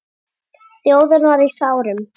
Þjóðin var í sárum.